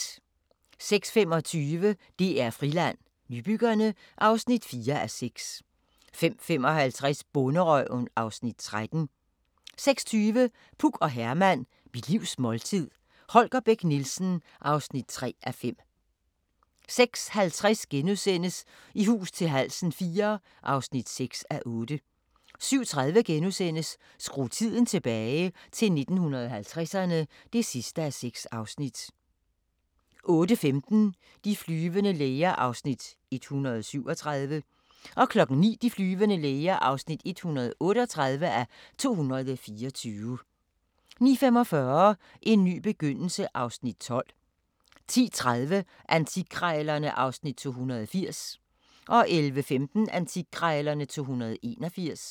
05:25: DR Friland: Nybyggerne (4:6) 05:55: Bonderøven (Afs. 13) 06:20: Puk og Herman – Mit livs måltid – Holger Bech Nielsen (3:5) 06:50: I hus til halsen IV (6:8)* 07:30: Skru tiden tilbage – til 1950'erne (6:6)* 08:15: De flyvende læger (137:224) 09:00: De flyvende læger (138:224) 09:45: En ny begyndelse (Afs. 12) 10:30: Antikkrejlerne (Afs. 280) 11:15: Antikkrejlerne (Afs. 281)